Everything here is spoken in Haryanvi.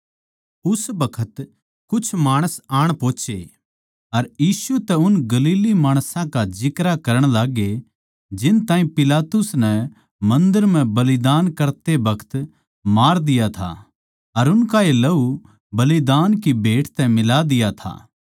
उस बखत कुछ माणस आण पोहोचे अर यीशु तै उन गलीली माणसां का जिक्रा करण लाग्गे जिन ताहीं पिलातुस नै मन्दर म्ह बलिदान करते बखत मार दिया था अर उनका ए लहू बलिदान की भेट तै मिला दिया था